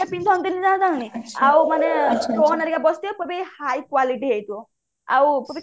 ପିନ୍ଧାନ୍ତିନି ଯାହା ଯେମିତି ଆଉ ମାନେ stone ହେରିକା ବସିଥିବ ବୋ ବି ହାଇ quality ହେଇଥିବ ଆଉ